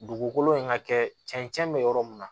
Dugukolo in ka kɛ cɛncɛn bɛ yɔrɔ mun na